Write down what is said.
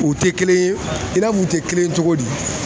U tɛ kelen ye i n'a fɔ u tɛ kelen ye cogo di